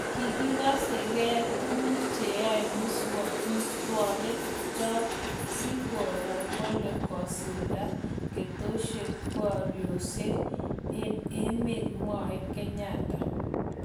�Kikase ke tuguk cheaei mestowek chok si koro kole kesulda keteshoshekapurerioshek eng' emet�, Mwae Kenyatta